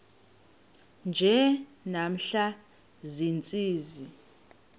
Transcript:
nje namhla ziintsizi